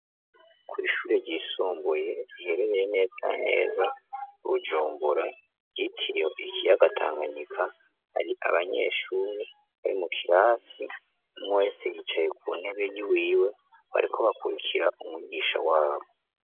kw'ishuri ryisumbuye riherereye neza neza ibujumbura ryitiriwe ikiyaga tanganyika, hari abanyeshuri bari mu kirasi umwese yicaye ku ntebe y'iwiwe bariko bakurikira umwigisha wabo.